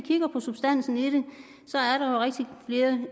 kigger på substansen i det